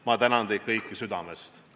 Ma tänan teid kõiki südamest!